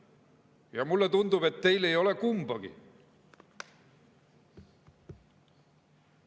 Ja mulle tundub, et teil ei ole kumbagi.